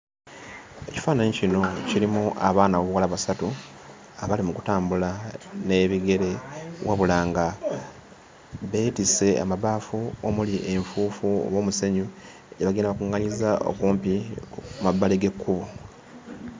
Ekifaananyi kino kirimu abaana ab'obuwala basatu abali mu kutambula n'ebigere wabula nga beetisse amabaafu omuli enfuufu oba omusenyu gye bagenda bakuŋŋaanyizza okumpi ku mabbali g'ekkubo.